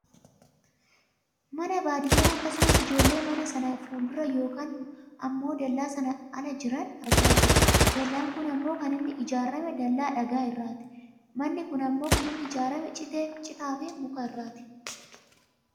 Mana baadiyyaa akkasumas ijoollee mana sana fuuldura yookaan ammoo dallaa sana ala jiran argaa jirra. Dallaan kun ammoo kan inni ijaarrame dallaa dhagaa irraati. Manni kun ammoo kan inni ijaarrame citaaf muka irraati.